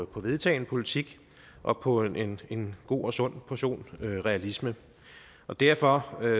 på vedtagen politik og på en en god og sund portion realisme derfor er